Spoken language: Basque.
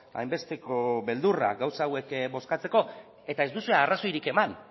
hainbesteko beldurra gauza hauek bozkatzeko eta ez duzue arrazoirik eman